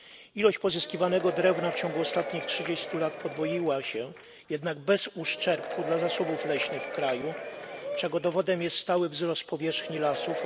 Ilość pozyskiwanego drewna w ciągu ostatnich trzydziestu lat podwoiła się, jednak bez uszczerbku dla zasobów leśnych w kraju, czego dowodem jest stały wzrost powierzchni lasów.